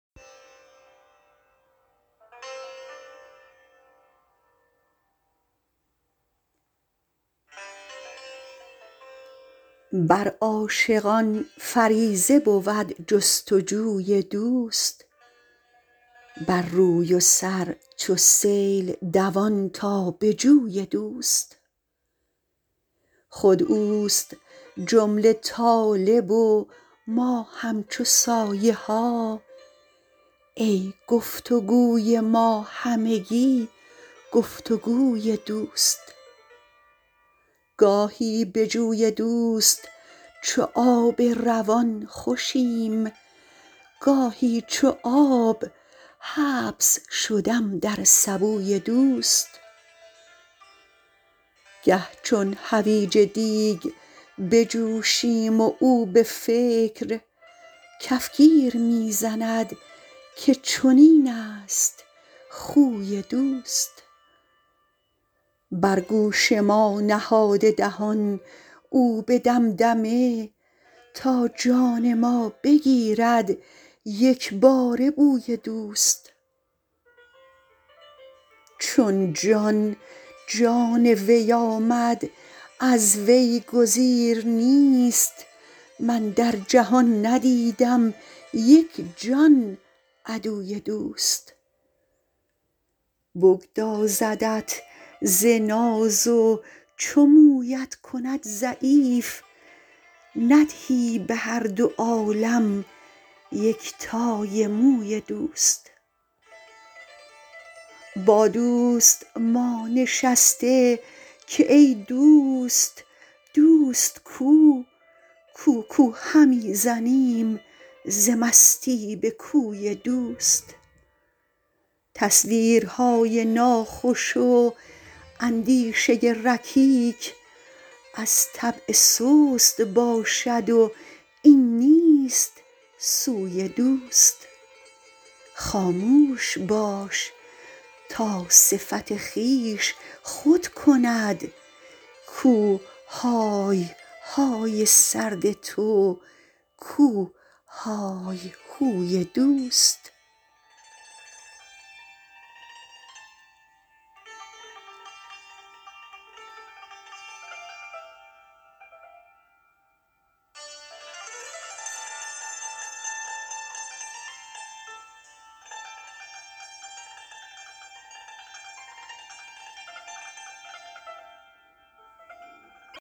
بر عاشقان فریضه بود جستجوی دوست بر روی و سر چو سیل دوان تا به جوی دوست خود اوست جمله طالب و ما همچو سایه ها ای گفتگوی ما همگی گفتگوی دوست گاهی به جوی دوست چو آب روان خوشیم گاهی چو آب حبس شدم در سبوی دوست گه چون حویج دیگ بجوشیم و او به فکر کفگیر می زند که چنینست خوی دوست بر گوش ما نهاده دهان او به دمدمه تا جان ما بگیرد یکباره بوی دوست چون جان جان وی آمد از وی گزیر نیست من در جهان ندیدم یک جان عدوی دوست بگدازدت ز ناز و چو مویت کند ضعیف ندهی به هر دو عالم یک تای موی دوست با دوست ما نشسته که ای دوست دوست کو کو کو همی زنیم ز مستی به کوی دوست تصویرهای ناخوش و اندیشه رکیک از طبع سست باشد و این نیست سوی دوست خاموش باش تا صفت خویش خود کند کو های های سرد تو کو های هوی دوست